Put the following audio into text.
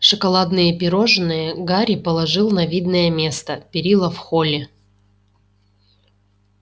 шоколадные пирожные гарри положил на видное место перила в холле